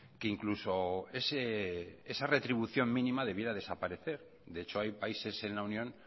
que incluso esa retribución mínima debiera desaparecer de hecho hay países en la unión